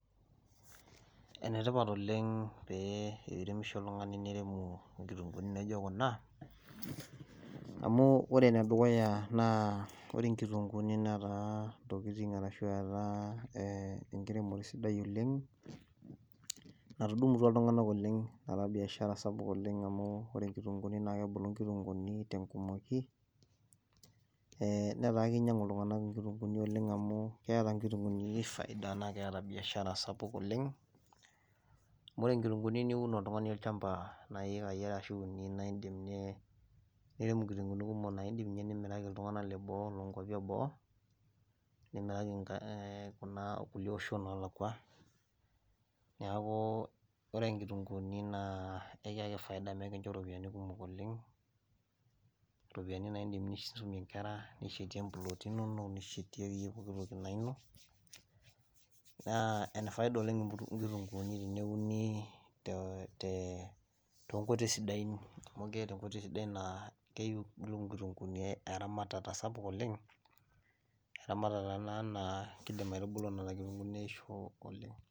ene tipat oleng paa teneiremisho oltungani niremu nkitunkuuni naijo kuna. amu ore ene dukuya ore nkitunkuuni netaa ntokitin ashu etaa, enkiremore sidai oleng. natudumutua iltunganak oleng. apa biashara sidai oleng amu ore nkitunkuuni naa kebulu nkitunkuuni, te nkumoki, netaaa kinyiang'u iltunganak inkitunkuuni te nkumoki oleng. amu keeta nkitunkuuni faida, naa kiata biashara sapuk oleng. amu ore nkitunkuuni niun oltungani olchampa naa iyikai are ashu uni, naa idim nirem nkitunkuuni kumok naa idim ninye nimiraki iltungana leboo, nkuapi eboo nimiraki kulie oshon oolakua, niaku ore nkitunkuuni naa ekiaki faida, neeku ekincho ropiyiani kumok oleng. iropiyiani na idim aisumie nkera nishetia mplooti inono. nishetie akeyie poki toki naa ino. naa ene faida oleng nkitunkuuni teneuni, te te nkoitoi sidain, amu keeta enkotoi sidai naa keyieu nkitunkuuni eramatata sapuk oleng. eramatata taata naa kidim aitubulu, neisho oleng'.